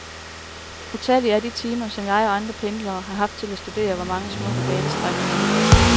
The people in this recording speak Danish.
Utallige er de timer, som jeg og andre pendlere har haft til at studere vore mange smukke banestrækninger i.